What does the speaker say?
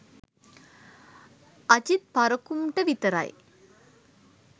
අජිත් පරකුම්ට විතරයි